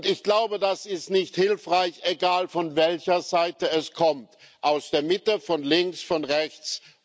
Ich glaube, das ist nicht hilfreich, egal, von welcher Seite es kommt aus der Mitte, von links oder von rechts.